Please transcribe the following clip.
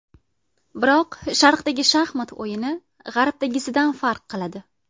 Biroq Sharqdagi shaxmat o‘yini G‘arbdagisidan farq qiladi.